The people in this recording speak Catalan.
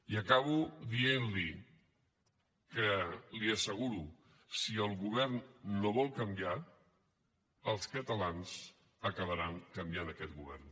i acabo dient li que li ho asseguro si el govern no vol canviar els catalans acabaran canviant aquest govern